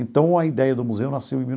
Então, a ideia do museu nasceu em mil.